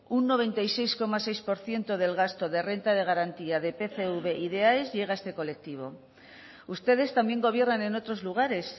un noventa y seis coma seis por ciento del gasto de renta de garantía de pcv y de aes llega a este colectivo ustedes también gobiernan en otros lugares